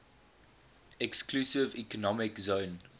exclusive economic zone